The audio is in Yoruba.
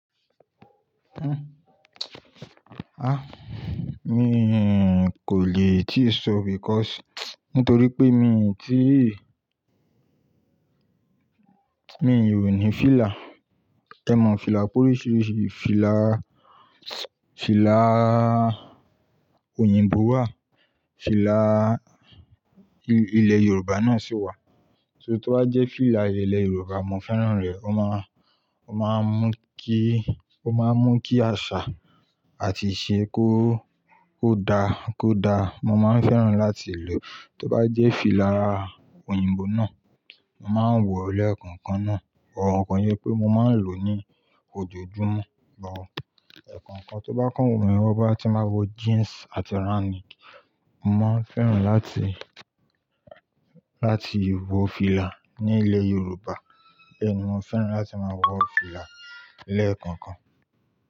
Ah! Mi kò lè tíì sọ because nítorí pé mi ò tíì Mi ò ní fìlà. Ẹ mọ fìlà pé oríṣiríṣi fìlà, fìlà òyìnbó wà, fìlà ilẹ̀ Yorùbá náà sì wà. So tó bá jẹ́ fìlà ilẹ̀ Yorùbá, mo fẹ́ràn rẹ̀. Ó máa ń, ó máa ń mú kí, ó máa ń mú kí àṣà àti ìṣe kó, kó da, kó da. Mo máa ń fẹ́ràn láti lò. Tó bá jẹ́ fìlà òyìnbó náà, mo máa ń wọ lẹ́ẹ̀kànkan náà. But kose wipe mo máa ń lò ní ojoojúmọ́, but Ẹ̀ẹ̀kànkan tó bá kàn wumí wo, boyá ti bá wọ jeans àti round neck, mo máa ń fẹ́ràn láti, láti wọ fìlà ní ilẹ̀ Yorùbá. Bẹ́ẹ̀ ni mo fẹ́ràn láti máa wọ fìlà lẹ́ẹ̀kankan.